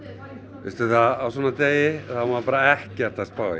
veistu á svona degi á maður bara ekkert að spá í